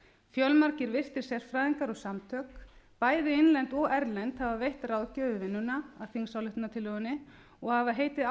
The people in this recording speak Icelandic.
fjölmargir virtir sérfræðingar og samtök bæði innlend og erlend hafa veitt ráðgjöf við vinnuna að þingsályktunartillögunni og hafa heitið